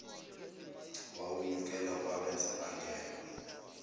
wawunyukela kwabenza bangenwa